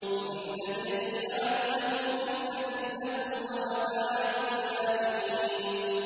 وَإِنْ أَدْرِي لَعَلَّهُ فِتْنَةٌ لَّكُمْ وَمَتَاعٌ إِلَىٰ حِينٍ